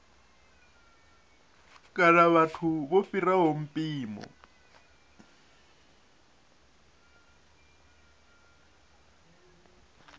kana vhathu vho fhiraho mpimo